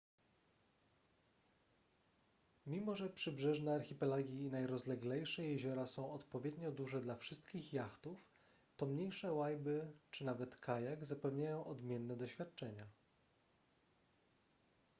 mimo że przybrzeżne archipelagi i najrozleglejsze jeziora są odpowiednio duże dla wszystkich jachtów to mniejsze łajby czy nawet kajak zapewniają odmienne doświadczenia